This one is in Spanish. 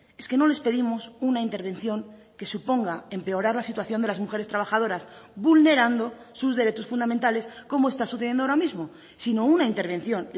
es que no les pedimos una intervención que suponga empeorar la situación de las mujeres trabajadoras vulnerando sus derechos fundamentales como está sucediendo ahora mismo sino una intervención